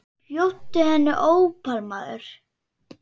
Bjóddu henni ópal, maður.